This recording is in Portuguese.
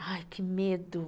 Ai, que medo.